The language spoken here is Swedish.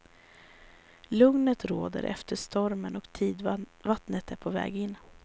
Lugnet råder efter stormen och tidvattnet är på väg in.